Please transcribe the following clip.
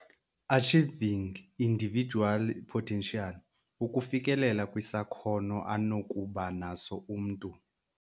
Achieving individual potential, Ukufikelela kwisakhono anokuba naso umntu,